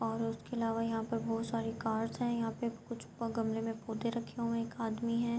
اور اسکے علاوہ بھوت سارے کارس ہے۔ یہاں پی کچھ گملے مے پڑھے رکھے ہوئے ہے. ایک آدمی ہے۔